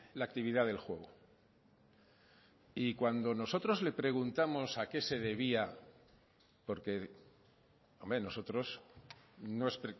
la actividad del juego y cuando nosotros le preguntamos a qué se debía porque hombre nosotros no es